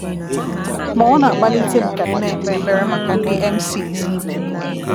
Ma ọ na-akpalitem ka m na-ekpe ekpere maka ndị emcees ibem.